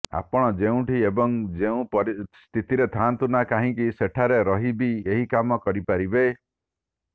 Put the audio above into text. ଆପଣ ଯେଉଁଠି ଏବଂ ଯେଉଁ ସ୍ଥିତିରେ ଥାଆନ୍ତୁ ନା କାହିଁକି ସେଠାରେ ରହି ବି ଏହି କାମ କରିପାରିବେ